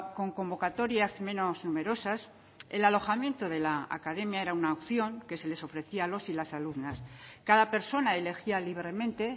con convocatorias menos numerosas el alojamiento de la academia era una opción que se les ofrecía a los y las alumnas cada persona elegía libremente